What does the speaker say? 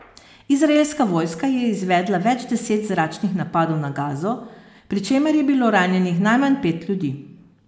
Izraelska vojska je izvedla več deset zračnih napadov na Gazo, pri čemer je bilo ranjenih najmanj pet ljudi.